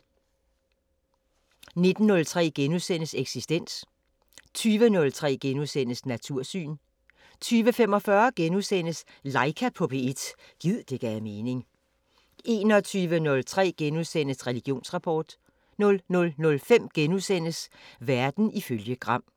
19:03: Eksistens * 20:03: Natursyn * 20:45: Laika på P1 – gid det gav mening * 21:03: Religionsrapport * 00:05: Verden ifølge Gram *